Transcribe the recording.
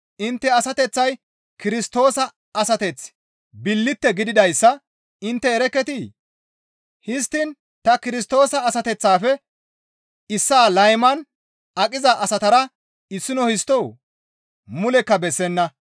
Intte asateththay Kirstoosa asateththa billite gididayssa intte erekketii? Histtiin ta Kirstoosa asateththaafe issaa layman aqiza asatara issino histtoo? Mulekka bessenna.